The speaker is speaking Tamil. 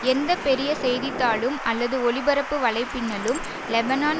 எந்த பெரிய செய்தித்தாளும் அல்லது ஒளிபரப்பு வலைப்பின்னலும் லெபனான்